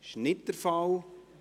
– Das ist nicht der Fall.